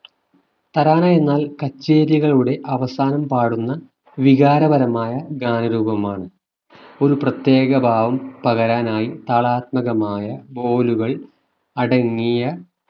തരാന എന്നാൽ കച്ചേരികളുടെ അവസാനം പാടുന്ന വികാരപരമായ ഗാനരൂപമാണ് ഒരു പ്രത്യേക ഭാവം പകരാനായി താളാത്മകമായ ബോലുകൾ അടങ്ങിയ